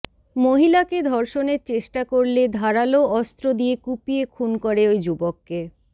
মহিলাকে ধর্ষণের চেষ্টা করলে ধারালো অস্ত্র দিয়ে কুপিয়ে খুন করে ওই যুবককে